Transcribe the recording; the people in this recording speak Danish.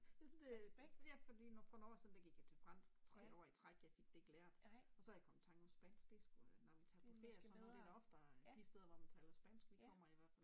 Jeg synes det, ja det fordi for nogle år siden der gik jeg til fransk 3 år i træk jeg fik det ikke lært og så er jeg kommet i tanke om spansk det sgu når vi tager på ferie så er det da oftere de steder, hvor man taler spansk vi kommer i hvert fald